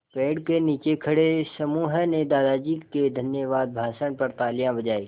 पेड़ के नीचे खड़े समूह ने दादाजी के धन्यवाद भाषण पर तालियाँ बजाईं